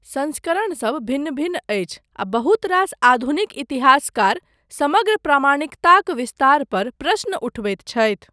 संस्करणसब भिन्न भिन्न अछि, आ बहुत रास आधुनिक इतिहासकार समग्र प्रामाणिकताक विस्तार पर प्रश्न उठबैत छथि।